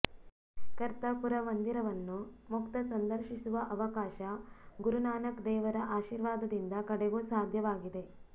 ಕರ್ತಾರ್ಪುರ ಮಂದಿರವನ್ನು ಮುಕ್ತ ಸಂದರ್ಶಿಸುವ ಅವಕಾಶ ಗುರುನಾನಕ್ ದೇವರ ಆಶೀರ್ವಾದದಿಂದ ಕಡೆಗೂ ಸಾಧ್ಯವಾಗಿದೆ